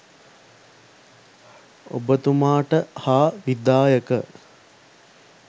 ඔබතුමාට හා විධායක